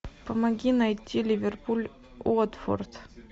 помоги найти ливерпуль уотфорд